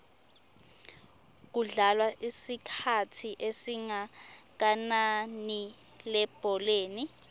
kudlalwa isikhathi esingakananilebholeni